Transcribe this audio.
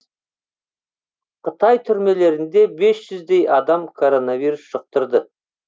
қытай түрмелерінде бес жүздей адам коронавирус жұқтырды